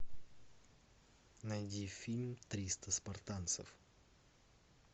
найди фильм триста спартанцев